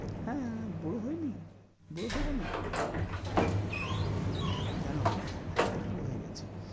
হ্যাঁ বুড়ো হয়নি? বুড়ো হবো না? কেন বলেছিলে একদম বুড়ো হয়ে গেছি।